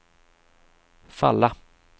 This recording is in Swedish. falla